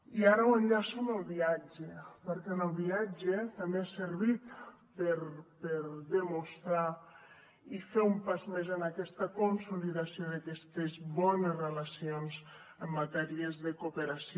i ara ho enllaço amb el viatge perquè el viatge també ha servit per demostrar i fer un pas més en aquesta consolidació d’aquestes bones relacions en matèria de cooperació